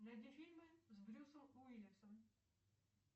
найди фильмы с брюсом уиллисом